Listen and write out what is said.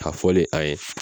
A fɔ fɔlen an ye